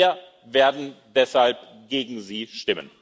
Wir werden deshalb gegen Sie stimmen.